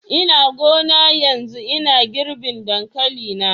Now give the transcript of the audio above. Ina gona yanzu ina girbin dankali na.